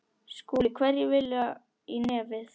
SKÚLI: Hverjir vilja í nefið.